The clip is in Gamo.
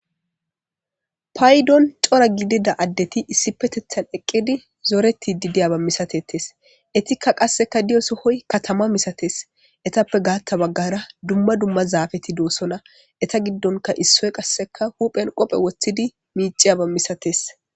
Paydon cora gidida adeti issipetethan eqidi zoretid diyaba masatetes itika qasika diyo Soho katama misates etape gatha bagara dumma dumma zafeti dosona eta gidon issoy huphen qofe wothidi miciyaba masates